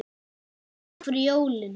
Og takk fyrir jólin.